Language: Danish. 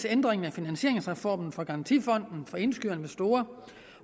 ændringen af finansieringsformen for garantifonden for indskydere